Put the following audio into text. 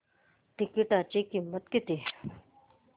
तिकीटाची किंमत किती